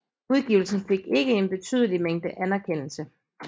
Udgivelsen fik ikke en betydelig mængde anerkendelse